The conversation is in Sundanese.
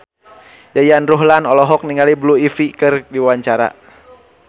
Yayan Ruhlan olohok ningali Blue Ivy keur diwawancara